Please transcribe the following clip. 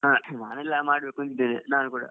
ಹಾ ಮಾಡ್ಬೇಕಂತ ಇದ್ದೇನೆ ನಾನು ಕೂಡ.